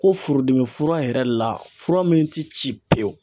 Ko furudimi fura yɛrɛ la fura min tɛ ci pewu.